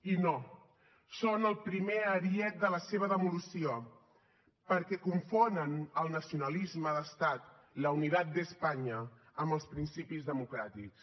i no són el primer ariet de la seva demolició perquè confonen el nacionalisme d’estat la unidad de españa amb els principis democràtics